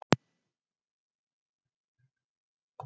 Sala afurða hefur gengið vel